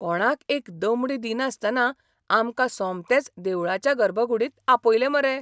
कोणाक एक दमडी दिनासतना आमकां सोमतेंच देवळाच्या गर्भकुडींत आपयले मरे.